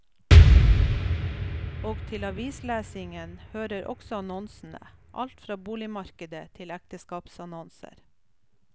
Og til avislesningen hører også annonsene, alt fra boligmarkedet til ekteskapsannonser.